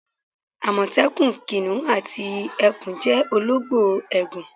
Àmọ̀tẹ́kùn, kìnnìún àti ẹkùn jẹ́ olóńgbò ègàn.